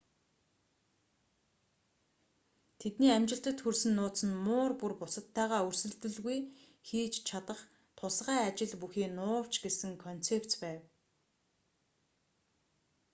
тэдний амжилтад хүрсэн нууц нь муур бүр бусадтайгаа өрсөлдөлгүй хийж чадах тусгай ажил бүхий нуувч гэсэн концепц байв